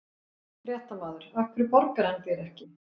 Fréttamaður: Af hverju borgar hann þér ekki?